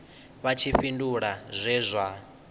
vha tshi fhindula zwe zwa